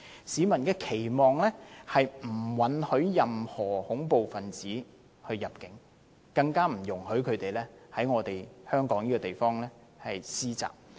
市民的期望是，政府不允許任何恐怖分子入境，更不容許他們在香港施襲。